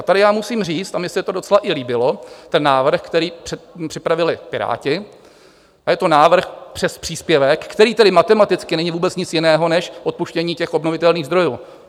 A tady já musím říct, a mně se to docela i líbilo, ten návrh, který připravili Piráti, a je to návrh přes příspěvek, který tedy matematicky není vůbec nic jiného než odpuštění těch obnovitelných zdrojů.